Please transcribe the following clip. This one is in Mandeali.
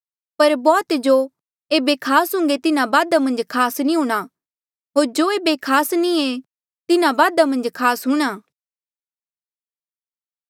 पर बौह्त जो ऐबे खास हुन्घे तिन्हा बादा मन्झ खास नी हूंणां होर जो ऐबे खास नी ऐें तिन्हा बादा खास हूंणां